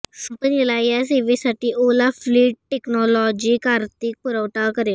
कंपनीला या सेवेसाठी ओला फ्लीट टेक्नॉलॉजीज आर्थिक पुरवठा करेल